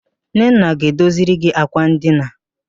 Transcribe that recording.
Nnenna ga-edoziri gi àkwà ndina.